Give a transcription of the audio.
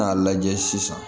N'a lajɛ sisan